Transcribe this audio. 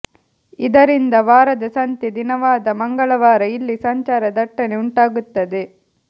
ಇದರಿಂದ ವಾರದ ಸಂತೆ ದಿನವಾದ ಮಂಗಳವಾರ ಇಲ್ಲಿ ಸಂಚಾರ ದಟ್ಟಣೆ ಉಂಟಾಗುತ್ತದೆ